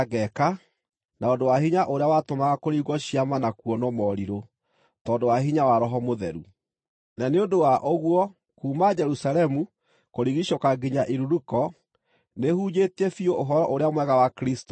na ũndũ wa hinya ũrĩa watũmaga kũringwo ciama na kuonwo morirũ, tondũ wa hinya wa Roho Mũtheru. Na nĩ ũndũ wa ũguo kuuma Jerusalemu kũrigiicũka nginya Iluriko, nĩhunjĩtie biũ Ũhoro-ũrĩa-Mwega wa Kristũ.